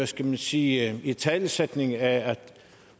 skal man sige italesættelse af at